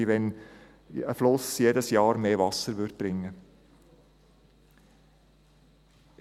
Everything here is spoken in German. Wie wenn ein Fluss jedes Jahr mehr Wasser bringen würde.